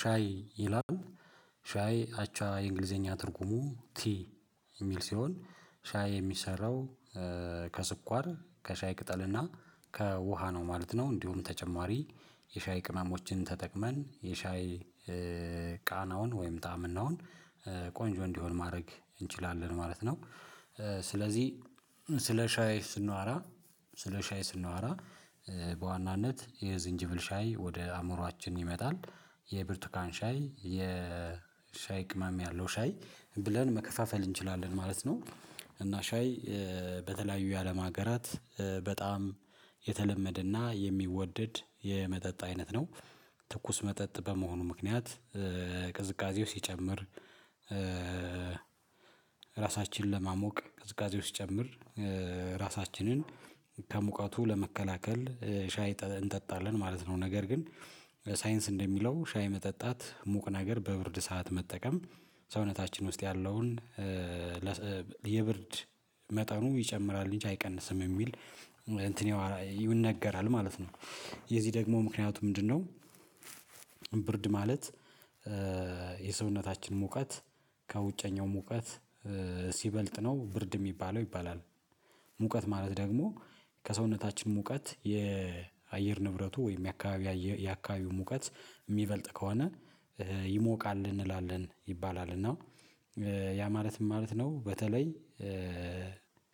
ሻይ ይላሉ ሻይ አቻ የእንግሊዘኛ ትርጉሙ ቲ የሚል ሲሆን ሻይ የሚሰራው ከስኳር ከሻይ ቅጠልና ከውሃ ነው ማለት ነው። እንዲሁም ተጨማሪ የሻይ ቅመሞችን ተጠቅመን የሻይ ቃናውን ወይም ጣዕምናውን ቆንጆ እንዲሆን ማድረግ እንችላለን ማለት ነው። ስለዚህ ስለ ሻይ ስናወራ ስለ ሻይ ስናወራ በዋናነት የዝንጅብል ሻይ ወደ አእምሮአችን ይመጣል የብርቱካን ሻይ የሻይ ቅመም ያለው ሻይ ብለን መከፋፈል እንችላለን ማለት ነው። እና ሻይ በተለያዩ የአለም ሀገራት በጣም የተለመደና የሚወደድ የመጠጥ አይነት ነው። ትኩስ መጠጥ በመሆኑ ምክንያት ቅዝቃዜው ሲጨምር ራሳችንን ለማሞቅ ቅዝቃዜው ሲጨምር ራሳችንን ከሙቀቱ ለመከላከል ሻይ እንጠጣለን ማለት ነው። ነገር ግን ሳይንስ እንደሚለው ሻይ መጠጣት ሙቅ ነገር በብርድ ሰዓት መጠቀም ሰውነታችን ውስጥ ያለውን የብርድ መጠኑ ይጨምራል እንጂ አይቀንስም የሚል እንትኔው ይነገራል ማለት ነው። የዚህ ደግሞ ምክንያቱ ምንድነው? ብርድ ማለት የሰውነታችን ሙቀት ከውጨኛው ሙቀት ሲበልጥ ነው ብርድ የሚባለው ይባላል። ሙቀት ማለት ደግሞ ከሰውነታችን ሙቀት የአየር ንብረቱ ወይም የአካባቢ የአካባቢው ሙቀት የሚበልጥ ከሆነ ይሞቃል እንላለን ይባላል። እና ያ ማለት ምን ማለት ነው? በተለይ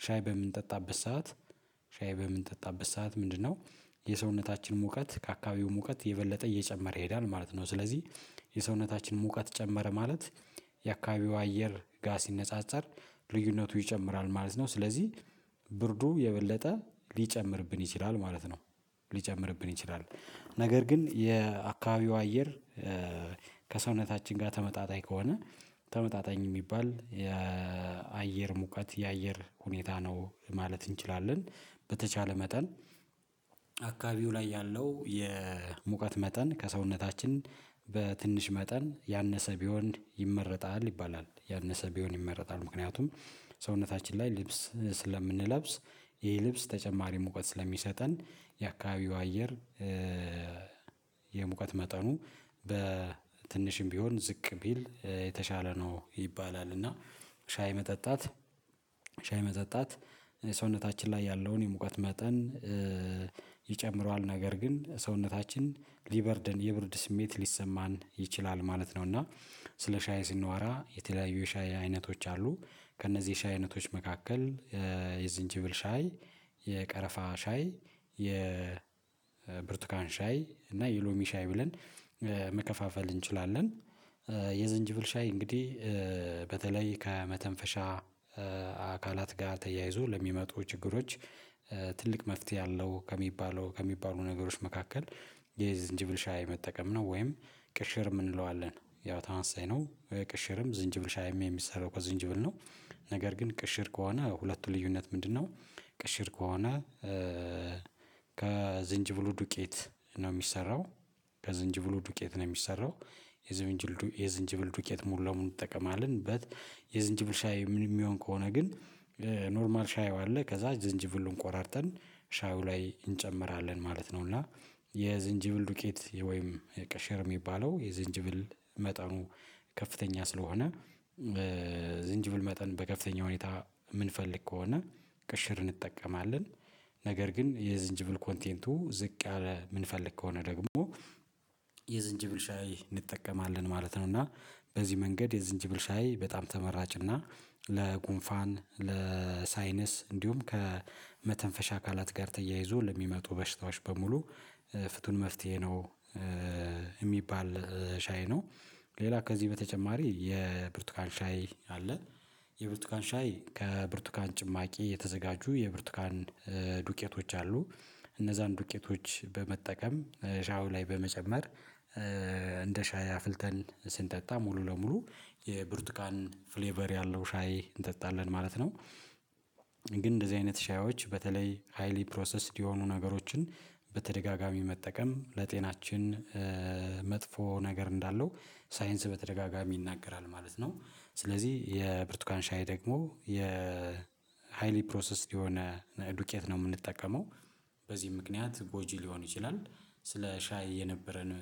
ሻይ በምንጠጣበት ሰዓት ሻይ በምንጠጣበት ሰዓት ምንድነው? የሰውነታችን ሙቀት ከአካባቢው ሙቀት የበለጠ እየጨመረ ይሄዳል ማለት ነው። ስለዚህ የሰውነታችን ሙቀት ጨመረ ማለት የአካባቢው አየር ጋር ሲነጻጸር ልዩነቱ ይጨምራል ማለት ነው። ስለዚህ ብርዱ የበለጠ ሊጨምርብን ይችላል ማለት ነው። ሊጨምርብን ይችላል ነገር ግን የአካባቢው አየር ከሰውነታችን ጋር ተመጣጣኝ ከሆነ ተመጣጣኝ የሚባል የአየር ሙቀት የአየር ሁኔታ ነው ማለት እንችላለን። በተቻለ መጠን አካባቢው ላይ ያለው የሙቀት መጠን ከሰውነታችን በትንሽ መጠን ያነሰ ቢሆን ይመረጣል ይባላል ያነሰ ቢሆን ይመረጣል። ምክንያቱም ሰውነታችን ላይ ልብስ ስለምንለብስ ይህ ልብስ ተጨማሪ ሙቀት ስለሚሰጠን የአካባቢው አየር የሙቀት መጠኑ በትንሽም ቢሆን ዝቅ ቢል የተሻለ ነው ይባላል። እና ሻይ መጠጣት ሻይ መጠጣት ሰውነታችን ላይ ያለውን የሙቀት መጠን ይጨምረዋል ነገር ግን ሰውነታችን ሊበርደን የብርድ ስሜት ሊሰማን ይችላል ማለት ነው። እና ስለ ሻይ ስናወራ የተለያዩ የሻይ አይነቶች አሉ። ከእነዚህ ሻይ አይነቶች መካከል የዝንጅብል ሻይ የቀረፋ ሻይ የብርቱካን ሻይ እና የሎሚ ሻይ ብለን መከፋፈል እንችላለን። የዝንጅብል ሻይ እንግዲህ በተለይ ከመተንፈሻ አካላት ጋር ተያይዞ ለሚመጡ ችግሮች ትልቅ መፍትሄ አለው ከሚባለው ከሚባሉ ነገሮች መካከል የዝንጅብል ሻይ መጠቀም ነው። ወይም ቅሽር የምንለው አለን ያው ታመሳሳይ ነው ቅሽርም ዝንጅብል ሻይም የሚሰራው ከዝንጅብል ነው። ነገር ግን ቅሽር ከሆነ ሁለቱ ልዩነት ምንድነው? ቅሽር ከሆነ ከዝንጅብሉ ዱቄት ነው የሚሰራው ከዝንጅብሉ ዱቄት ነው የሚሰራው የዝንጅብል ዱቄት የዝንጅብል ዱቄት ሙሉ ለሙሉ እንጠቀማለን በት የዝንጅብል ሻይ ምን የሚሆን ከሆነ ግን ኖርማል ሻዩ አለ ከዛ ዝንጅብሉን ቆራርጠን ሻዩ ላይ እንጨምራለን ማለት ነው። እና የዝንጅብል ዱቄት ወይም የቀሸር የሚባለው የዝንጅብል መጠኑ ከፍተኛ ስለሆነ ዝንጅብል መጠን በከፍተኛ ሁኔታ የምንፈልግ ከሆነ ቅሽር እንጠቀማለን። ነገር ግን የዝንጅብል ኮንቴንቱ ዝቅ ያለ የምንፈልግ ከሆነ ደግሞ የዝንጅብል ሻይ እንጠቀማለን ማለት ነው። እና በዚህ መንገድ የዝንጅብል ሻይ በጣም ተመራጭ እና ለጉንፋን ለሳይነስ እንዲሁም ከመተንፈሻ አካላት ጋር ተያይዞ ለሚመጡ በሽታዎች በሙሉ ፍቱን መፍትሄ ነው። የሚባል ሻይ ነው። ሌላ ከዚህ በተጨማሪ የብርቱካን ሻይ አለ። የብርቱካን ሻይ ከብርቱካን ጭማቂ የተዘጋጁ የብርቱካን ዱቄቶች አሉ እነዛን ዱቄቶች በመጠቀም ሻው ላይ በመጨመር እንደ ሻይ አፍልተን ስንጠጣ ሙሉ ለሙሉ የብርቱካን ፍሌቨር ያለው ሻይ እንጠጣለን ማለት ነው። ግን እንደዚህ አይነት ሻዮች በተለይ ሃይሊ ፕሮሰስድ የሆኑ ነገሮችን በተደጋጋሚ መጠቀም ለጤናችን መጥፎ ነገር እንዳለው ሳይንስ በተደጋጋሚ ይናገራል ማለት ነው። ስለዚህ የብርቱካን ሻይ ደግሞ የሃይሊ ፕሮሰስድ የሆነ ዱቄት ነው የምንጠቀመው በዚህ ምክንያት ጎጂ ሊሆን ይችላል። ስለ ሻይ የነበረን